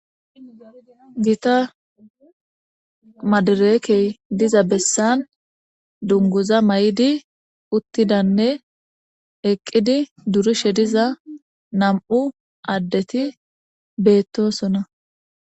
Gita madereekey diza bessan dunguza may'idi uttidanne eqqidi durushe diza nam'u addeti beettosona.